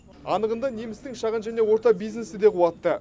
анығында немістің шағын және орта бизнесі де қуатты